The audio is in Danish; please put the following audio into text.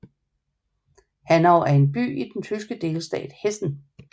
Hanau er en by i den tyske delstat Hessen